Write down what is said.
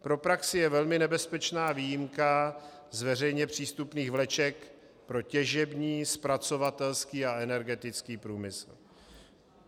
Pro praxi je velmi nebezpečná výjimka z veřejně přístupných vleček pro těžební, zpracovatelský a energetický průmysl.